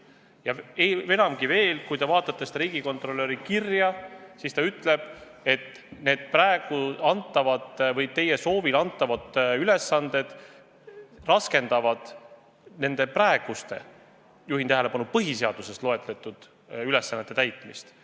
Ja enamgi veel: kui te vaatate seda riigikontrolöri kirja, siis näete, et ta ütleb, et need praegu teie soovil antavad ülesanded raskendavad nende praeguste, juhin tähelepanu, põhiseaduses loetletud ülesannete täitmist.